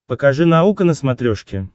покажи наука на смотрешке